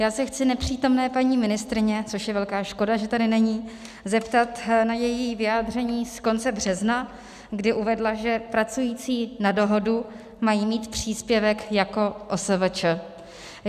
Já se chci nepřítomné paní ministryně - což je velká škoda, že tady není - zeptat na její vyjádření z konce března, kdy uvedla, že pracující na dohodu mají mít příspěvek jako OSVČ.